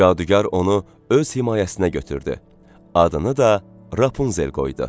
Cadugar onu öz himayəsinə götürdü, adını da Rapunzel qoydu.